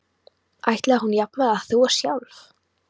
Ætlaði hún jafnvel að þvo sjálf?